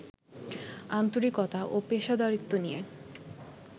আন্তরিকতা ও পেশাদারিত্ব নিয়ে